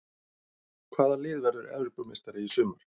Hvaða lið verður Evrópumeistari í sumar?